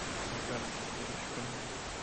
на карте рич фэмили